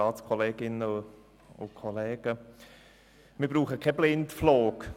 Wir brauchen keinen Blindflug.